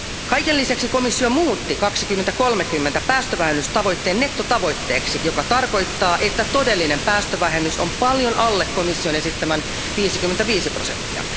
Kaiken lisäksi komissio muutti 2030 päästövähennystavoitteen nettotavoitteeksi, joka tarkoittaa, että todellinen päästövähennys on paljon alle komission esittämän 55 prosenttia.